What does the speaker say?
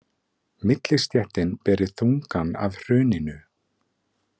Millistéttin beri þungann af hruninu